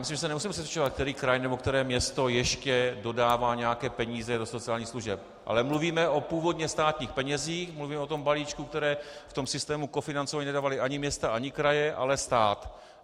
Myslím, že se nemusíme přesvědčovat, který kraj nebo které město ještě dodává nějaké peníze do sociálních služeb, ale mluvíme o původně státních penězích, mluvíme o tom balíčku, který v tom systému kofinancování nedávaly ani města ani kraje, ale stát.